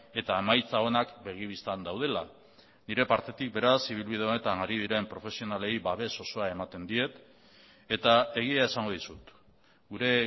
eta emaitza onak begi bistan daudela nire partetik beraz ibilbide honetan ari diren profesionalei babes osoa ematen diet eta egia esango dizut gure